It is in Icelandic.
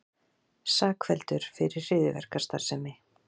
Sakfelldur fyrir hryðjuverkastarfsemi